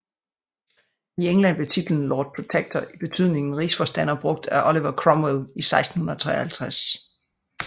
I England blev titlen Lord Protector i betydningen Rigsforstander brugt af Oliver Cromwell i 1653